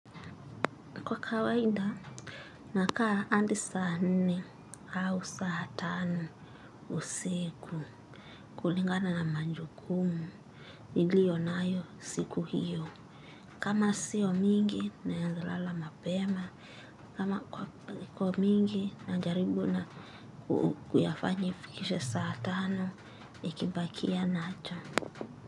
Kwa kawaida, nakaa hadi saa nne au saa tano usiku kulingana na majukumu niliyonayo siku hiyo. Kama sio mingi naeza lala mapema, kama kwa kwa mingi na jaribu na kuyafanya ifikishe saa tano ikibakia na cha.